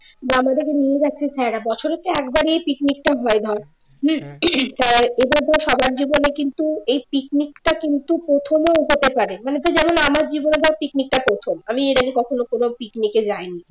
আমাদেরকে নিয়ে যাচ্ছেন স্যারেরা বছরে একবারই picnic টা হয় ধর সাধারণ জীবনে কিন্তু এই picnic টা কিন্তু প্রথমেও যেতে পারে মানে তোর যেমন আমার জীবনে ধর picnic টা প্রথম আমি এর আগে কখনো কোনো picnic এ যাই নি